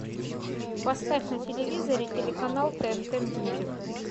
поставь на телевизоре телеканал тнт мьюзик